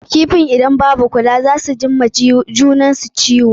Kifin idan ba a kula da su sosai ba na iya ji wa junan su ciwo.